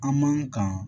An man kan